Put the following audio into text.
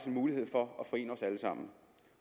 en mulighed for at forene os alle sammen